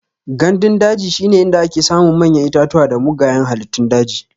Gandun daji shine inda ake samun manyan itatuwa da mugayan halittun daji.